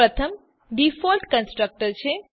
પ્રથમ default constructor છે